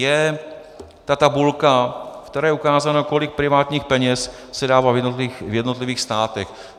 Je ta tabulka, v které je ukázáno, kolik privátních peněz se dává v jednotlivých státech.